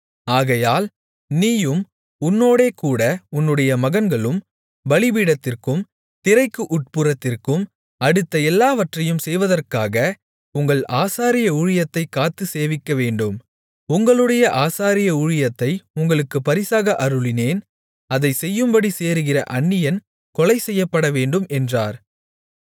ஆகையால் நீயும் உன்னோடேகூட உன்னுடைய மகன்களும் பலிபீடத்திற்கும் திரைக்கு உட்புறத்திற்கும் அடுத்த எல்லாவற்றையும் செய்வதற்காக உங்கள் ஆசாரிய ஊழியத்தைக் காத்துச் சேவிக்கவேண்டும் உங்களுடைய ஆசாரிய ஊழியத்தை உங்களுக்கு பரிசாக அருளினேன் அதைச் செய்யும்படி சேருகிற அந்நியன் கொலை செய்யப்படவேண்டும் என்றார்